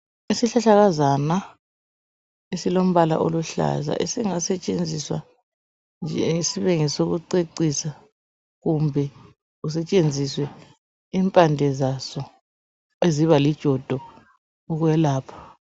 isihlahlakazana esilompala oluhlaza esingasetshenziswa nje sibe ngebe ngesoku cecisa kumbe kusetshenziswe impande zaso eziba lijodo ukwelapha